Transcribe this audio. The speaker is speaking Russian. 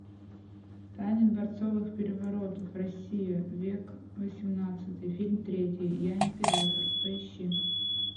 тайны дворцовых переворотов россия век восемнадцатый фильм третий я император поищи